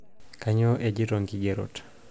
kanyoo ejito nkigerot